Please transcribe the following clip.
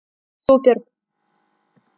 супер